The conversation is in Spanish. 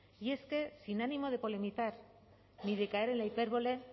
y es que sin ánimo de polemizar ni de caer en la hipérbole